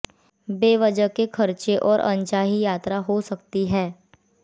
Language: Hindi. बेवजह के खर्चे और अनचाही यात्रा हो सकती है